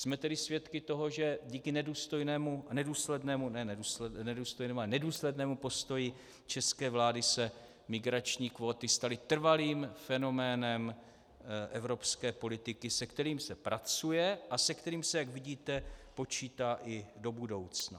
Jsme tedy svědky toho, že díky nedůslednému postoji české vlády se migrační kvóty staly trvalým fenoménem evropské politiky, se kterým se pracuje a se kterým se, jak vidíte, počítá i do budoucna.